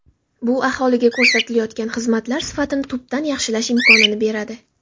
Bu aholiga ko‘rsatilayotgan xizmatlar sifatini tubdan yaxshilash imkonini beradi.